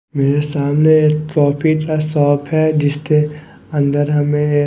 मेरे सामने एक कॉफी का शॉप है जिसके अंदर हमें--